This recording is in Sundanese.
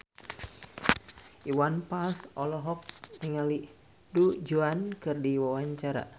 Iwan Fals olohok ningali Du Juan keur diwawancara